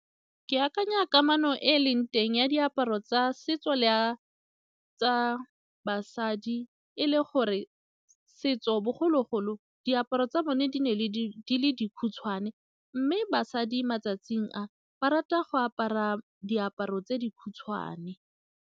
Ke akanya kamano e e leng teng ya diaparo tsa setso le ya tsa basadi e le gore setso bogologolo, diaparo tsa bone di ne di le dikhutshwane mme basadi matsatsing a ba rata go apara diaparo tse di khutshwane.